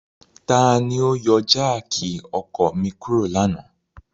Tani o yọ jáákí ọkọ mi kuro lana?